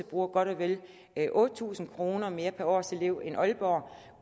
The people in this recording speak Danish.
bruger godt og vel otte tusind kroner mere per årselev end aalborg